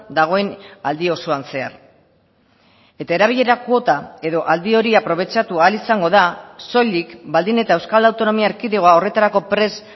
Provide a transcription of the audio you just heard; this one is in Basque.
dagoen aldi osoan zehar eta erabilera kuota edo aldi hori aprobetxatu ahal izango da soilik baldin eta euskal autonomia erkidegoa horretarako prest